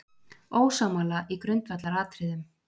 Ósammála í grundvallaratriðum